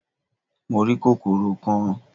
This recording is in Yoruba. Mo rí kòkòrò kan